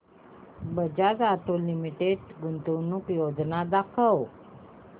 Bajaj auto limited गुंतवणूक योजना दाखव